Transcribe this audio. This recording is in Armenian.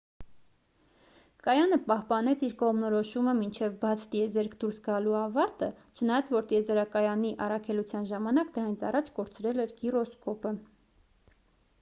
կայանը պահպանեց իր կողմնորոշումը մինչև բաց տիեզերք դուրս գալու ավարտը չնայած որ տիեզերակայանի առաքելության ժամանակ դրանից առաջ կորցրել էր գիրոսկոպը